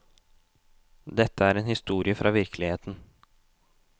Dette er en historie fra virkeligheten.